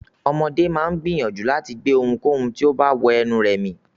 Ọmọdé máa ń gbìyànjú láti gbé ohunkóhun tó bá wọ lẹnu rẹ̀ mì.